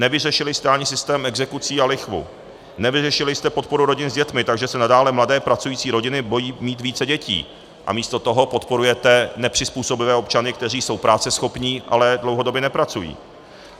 Nevyřešili jste ani systém exekucí a lichvu, nevyřešili jste podporu rodin s dětmi, takže se nadále mladé pracující rodiny bojí mít více dětí, a místo toho podporujete nepřizpůsobivé občany, kteří jsou práceschopní, ale dlouhodobě nepracují.